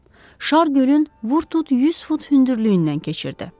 Şar gölün vur-tut 100 fut hündürlüyündən keçirdi.